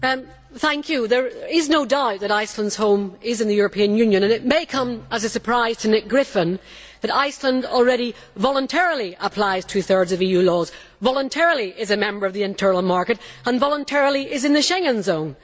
Madam President, there is no doubt that Iceland's home is in the European Union and it may come as a surprise to Nick Griffin that Iceland already voluntarily applies two thirds of EU laws, voluntarily is a member of the internal market and voluntarily is in the Schengen zone.